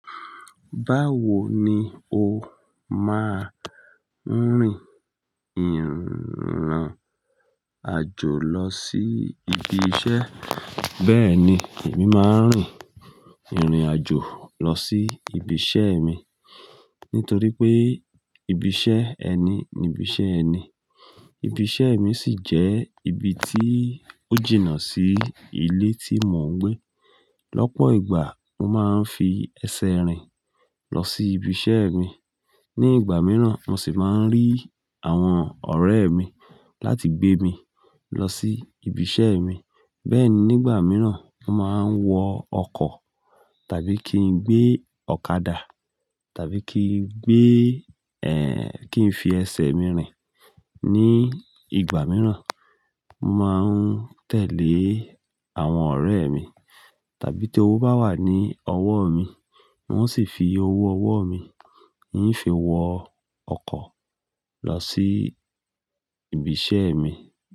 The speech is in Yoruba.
Báwo ni o máa ń rìn ìrìnàjò lọ sí ibi iṣẹ́? Bẹ́ẹ̀ni, èmi máa ń rìn ìrìnàjò lọ sí ibi iṣẹ́ mi, nítorí pé ibi iṣẹ́ ẹni ni ibi iṣẹ́ ẹni. Ibi iṣẹ́ mi sì jẹ́ ibi tí ó jìnnà sí ilé tí mò ń gbé. Lọ́pọ̀ ìgbà, mo máa ń fi ẹsẹ̀ rìn lọ sí ibi iṣẹ́ mi. Ní ìgbà mìíràn, mo sì máa ń rí àwọn ọ̀rẹ́ mi láti gbé mi lọ sí ibi iṣẹ́ mi. Bẹ́ẹ̀ ni, nígbà mìíràn, mo máa ń wọ ọkọ̀ tàbí kí n gbé ọ̀kadà tàbí kí n gbé, kí n fi ẹsẹ̀ mi rìn. Ní ìgbà mìíràn, mo máa ń tẹ̀lé àwọn ọ̀rẹ́ mi. Tàbí tí owó bá wà ní ọwọ́ mi, n ó sì fi owó ọwọ́ mi, n fi wọ ọkọ̀ lọ sí ibi iṣẹ́ mi.